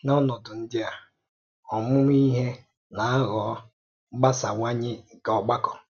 N'ọnọ̀dụ ǹdí a, ọ̀mụ̀mụ̀ íhè na-àghọ̀ mgbàsàwányè nke ọ̀gbàkọ.